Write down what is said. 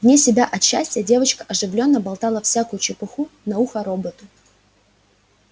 вне себя от счастья девочка оживлённо болтала всякую чепуху на ухо роботу